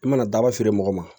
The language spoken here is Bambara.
I mana daba feere mɔgɔ ma